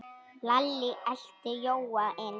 Lalli elti Jóa inn.